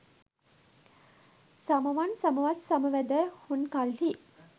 සමවන් සමවත් සම වැදැ හුන් කල්හි